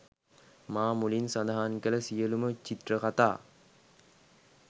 මා මුලින් සඳහන් කළ සියළුම චිත්‍රකතා